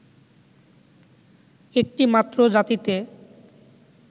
একটি মাত্র জাতিতে